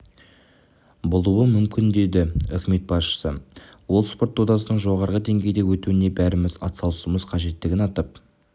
болуы мүмкін деді үкімет басшысы ол спорт додасының жоғары деңгейде өтуіне бәріміз атсалысуымыз қажеттігін атап